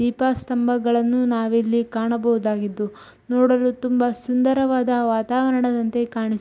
ದೀಪ ಸ್ತಂಭಗಳನ್ನು ನಾವಿಲ್ಲಿ ಕಾಣಬಹುದಾಗಿದ್ದು ನೋಡಲು ತುಂಬಾ ಸುಂದರವಾದ ವಾತಾವರಣದಂತೆ ಕಾಣಿಸು --